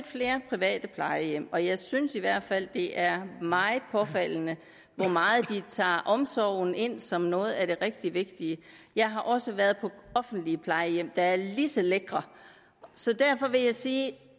flere private plejehjem og jeg synes i hvert fald at det er meget påfaldende hvor meget de tager omsorgen ind som noget af det rigtig vigtige jeg har også været på offentlige plejehjem der er lige så lækre så derfor vil jeg sige at